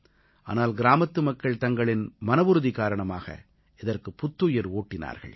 ஆனால் கிராமத்து மக்கள் தங்களின் மனவுறுதி காரணமாக இதற்குப் புத்துயிர் ஊட்டினார்கள்